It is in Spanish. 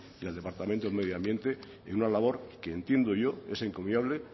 ni al departamento de medio ambiente en una labor que entiendo yo es encomiable